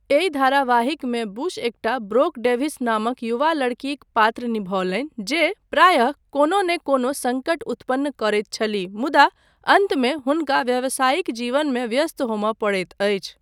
एहि धारावाहिकमे बुश एकटा ब्रोक डेभिस नामक युवा लड़कीक पात्र निभौलनि जे प्रायः कोनो नहि कोनो सङ्कट उत्पन्न करैत छलीह मुदा अन्तमे हुनका व्यवसायिक जीवनमे व्यस्त होमय पड़ैत अछि।